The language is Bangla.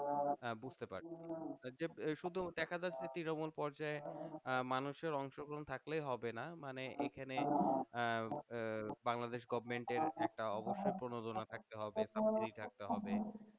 আহ বুঝতে পারছি শুধু দেখা যাচ্ছে তৃণমূল পর্যায়ে আহ মানুষের অংশগ্রহণ থাকলেই হবে না মানে এখানে আহ আহ বাংলাদেশ government এর একটা অবশ্যই প্রণোদনা থাকতে হবে সা প্লি থাকতে হবে